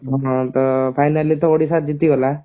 ହଁ ତ finally ତ ଓଡିଶା ଜିଟିଗଲା